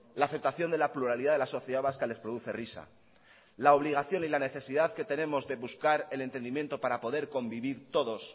la aceptación de la pluralidad de la sociedad vasca les produce risa la obligación y la necesidad que tenemos de buscar el entendimiento para poder convivir todos